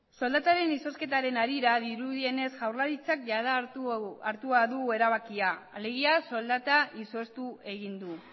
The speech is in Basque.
soldataren izozketaren harira dirudienez jaurlaritzak jada hartuta du erabakia alegia soldata izoztu egin du